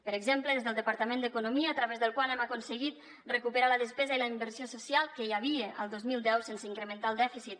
per exemple des del departament d’economia a través del qual hem aconseguit recuperar la despesa i la inversió social que hi havia el dos mil deu sense incrementar el dèficit